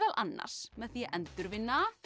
annars með því að endurvinna